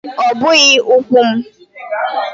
Ọ bụghị Ụnkụ m